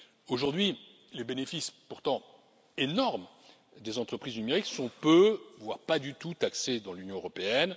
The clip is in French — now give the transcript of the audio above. Aujourd'hui, les bénéfices, pourtant énormes, des entreprises numériques sont peu, voire pas du tout taxés dans l'Union européenne.